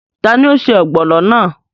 Tani o se ọ́gbọnọ́ náà?